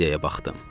Maddiyaya baxdım.